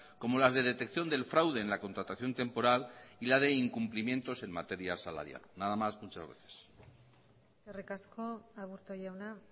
como las de detección del fraude en la contratación temporal y la de incumplimientos en materia salarial nada más muchas gracias eskerrik asko aburto jauna